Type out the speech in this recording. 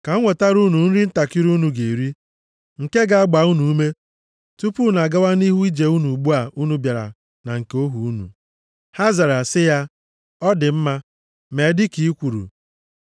Ka m wetara unu nri ntakịrị unu ga-eri nke ga-agba unu ume tupu unu agawa nʼihu nʼije unu ugbu a unu bịara na nke ohu unu.” Ha zara sị ya, “Ọ dị mma. Mee dịka i kwuru.”